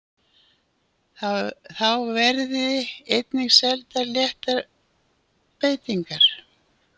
Þá verði einnig seldar léttar veitingar